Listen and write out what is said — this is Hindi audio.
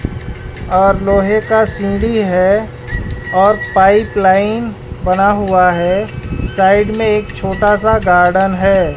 और लोहे का सीढ़ी है और पाइप लाइन बना हुआ है साइड में एक छोटा सा गार्डन है।